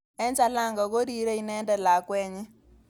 Eng Jalango korirei inendet lakwet nyi.